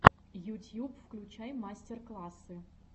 ютьюб включай мастер классы